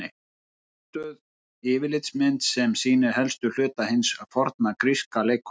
Einfölduð yfirlitsmynd sem sýnir helstu hluta hins forna gríska leikhúss.